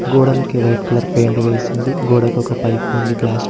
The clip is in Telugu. గోడలకి వైట్ కలర్ పెయింట్ వేసింది గోడకొక పైపు ఉంది ప్లాస్టిక్ --